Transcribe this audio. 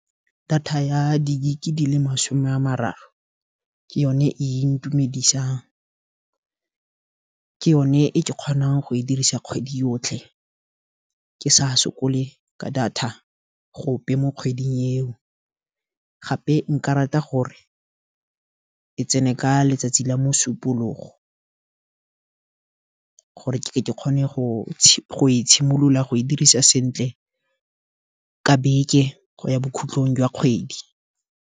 Data ya di-gig di le masome a mararo, ke yone e ntumedisang, ke yone e kgonang go e dirisa kgwedi yotlhe. Ke sa sokole ka data go ope mo kgweding eo, gape nka rata gore e tsene ka letsatsi la mosupologo, gore ke kgone go e tshimolola go e dirisa sentle, ka beke go ya bokhutlong jwa kgwedi.